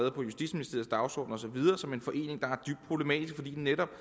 og på justitsministeriets dagsorden og så videre som en forening der er dybt problematisk fordi den netop